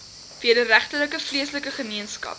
wederregtelike vleeslike gemeenskap